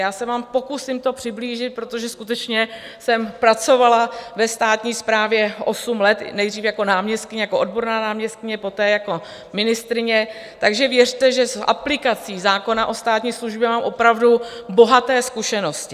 Já se vám pokusím to přiblížit, protože skutečně jsem pracovala ve státní správě osm let, nejdřív jako náměstkyně, jako odborná náměstkyně, poté jako ministryně, takže věřte, že s aplikací zákona o státní službě mám opravdu bohaté zkušenosti.